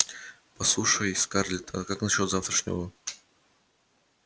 послушай скарлетт а как насчёт завтрашнего